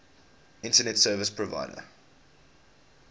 internet service provider